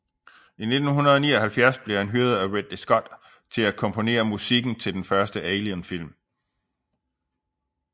I 1979 blev han hyret af Ridley Scott til at komponere musikken til den første Alien film